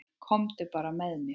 Komdu bara með mér.